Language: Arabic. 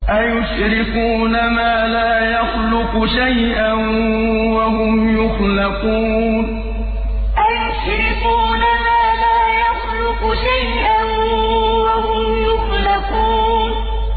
أَيُشْرِكُونَ مَا لَا يَخْلُقُ شَيْئًا وَهُمْ يُخْلَقُونَ أَيُشْرِكُونَ مَا لَا يَخْلُقُ شَيْئًا وَهُمْ يُخْلَقُونَ